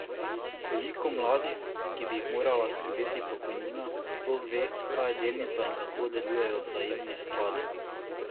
Koliko mladih, ki bi jih morala skrbeti pokojnina, sploh ve, kaj je delnica in kako delujejo vzajemni skladi?